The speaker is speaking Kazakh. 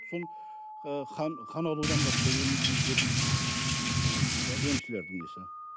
сол ы қан қан алудан басқа ем көрген жопын сол ммм сол емшілердің несі